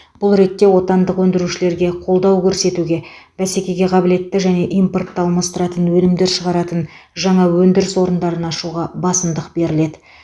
бұл ретте отандық өндірушілерге қолдау көрсетуге бәсекеге қабілетті және импортты алмастыратын өнімдер шығаратын жаңа өндіріс орындарын ашуға басымдық беріледі